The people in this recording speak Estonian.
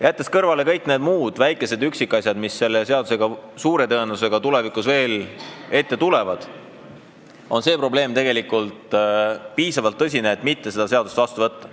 Jättes kõrvale kõik väikesed üksikasjad, mis suure tõenäosusega veel ette tulevad, on see probleem piisavalt tõsine, et seda seadust mitte vastu võtta.